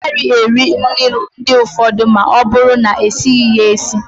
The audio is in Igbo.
Ịgaghị eri nri ndị ụfọdụ ma ọ bụrụ na-esighi ya esi